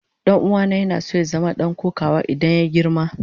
Dan'uwana yana so ya zama dan kokawa idan ya girma.